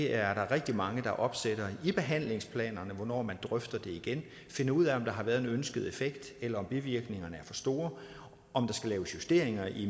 er rigtig mange der opstiller i handlingsplanerne hvornår man drøfte det igen og finde ud af om der har været den ønskede effekt eller om bivirkningerne er for store om der skal laves justeringer i